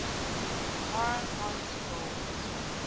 foreign policy goals